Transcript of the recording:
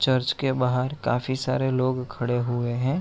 Church के बाहर काफी सारे लोग खड़े हुए हैं।